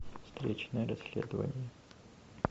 встречное расследование